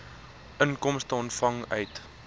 inkomste ontvang uit